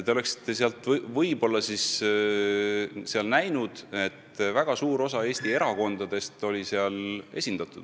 Te oleksite seal võib-olla näinud, et väga suur osa Eesti erakondadest oli seal esindatud.